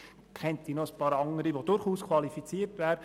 Ich kenne noch einige andere, die durchaus qualifiziert wären.